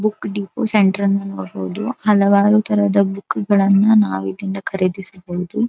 Book depot ಸೆಂಟ್ರನ್ನು ನೋಡಬಹುದು ಹಲವಾರು ತರದ ಬುಕ್ಕುಗಳನ್ನಾ ನಾವು ಇಲ್ಲಿಂದ ಖರೀದಿಸಬಹುದು.